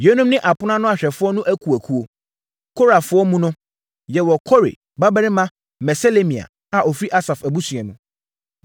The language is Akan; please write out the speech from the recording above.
Yeinom ne apono ano ahwɛfoɔ no akuakuo: Korafoɔ mu no: yɛwɔ Kore babarima Meselemia a ɔfiri Asaf abusua mu.